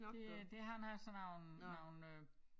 Det øh det han har sådan nogle nogle øh